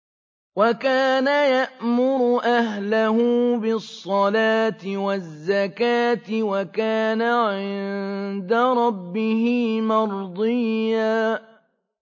وَكَانَ يَأْمُرُ أَهْلَهُ بِالصَّلَاةِ وَالزَّكَاةِ وَكَانَ عِندَ رَبِّهِ مَرْضِيًّا